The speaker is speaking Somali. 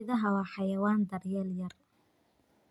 Idaha waa xayawaan daryeel yar.